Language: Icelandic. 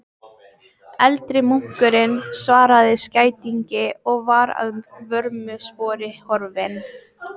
Eldri munkurinn svaraði skætingi og var að vörmu spori horfinn.